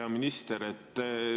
Hea minister!